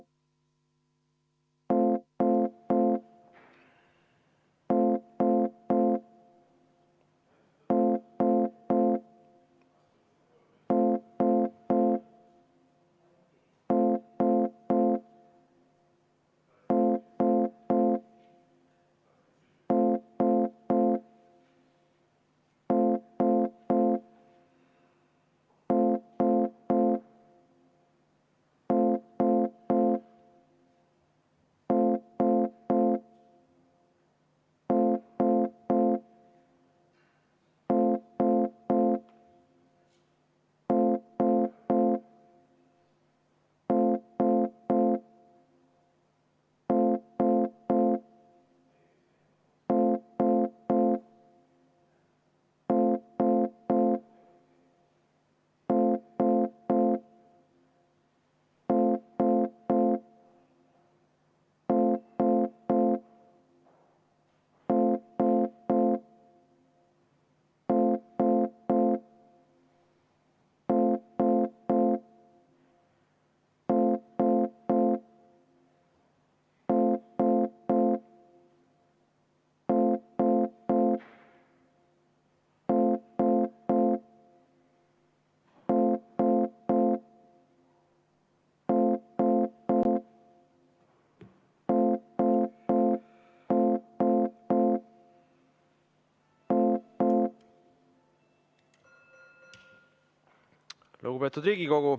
Lugupeetud Riigikogu!